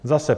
Zase.